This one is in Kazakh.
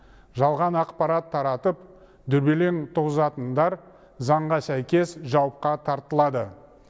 жалған ақпарат таратып дүрбелең туғызатындар заңға сәйкес жауапқа тартылады